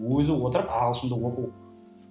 өзі отырып ағылшынды оқу